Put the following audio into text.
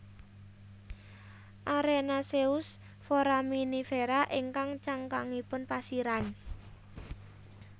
Arenaceous Foraminifera ingkang cangkangipun pasiran